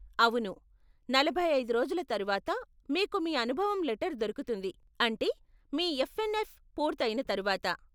అవును, నలభై ఐదు రోజుల తరువాత మీకు మీ అనుభవం లెటర్ దొరుకుతుంది, అంటే మీ ఎఫ్ఎన్ఎఫ్ పూర్తయిన తర్వాత.